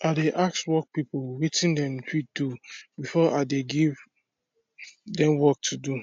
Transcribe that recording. i dey ask work people watin them fit do befor i de give them work to do